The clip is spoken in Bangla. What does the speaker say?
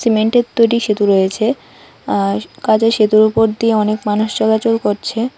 মেন্টের তৈরি সেতু রয়েছে আর কাজেই সেতুর ওপর দিয়ে অনেক মানুষ চলাচল করছে।